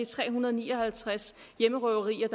tre hundrede og ni og halvtreds hjemmerøverier